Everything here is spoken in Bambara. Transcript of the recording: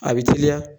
A bɛ teliya